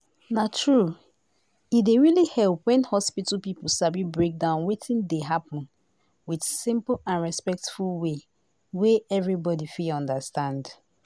to hear wetin person wey no well dey talk and if you no dey judging dem dey help hospital people understand dem well-well